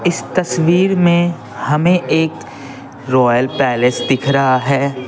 इस तस्वीर में हमें एक रॉयल पैलेस दिख रहा है।